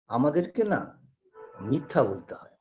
আমাদেরকে না মিথ্যা বলতে হয়